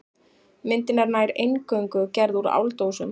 Myndin er nær eingöngu gerð úr áldósum.